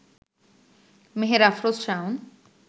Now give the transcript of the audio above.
Meher Afroz Shaon